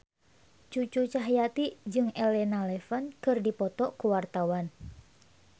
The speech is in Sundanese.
Cucu Cahyati jeung Elena Levon keur dipoto ku wartawan